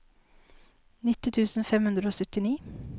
nitti tusen fem hundre og syttini